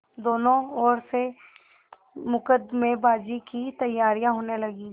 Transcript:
दोनों ओर से मुकदमेबाजी की तैयारियॉँ होने लगीं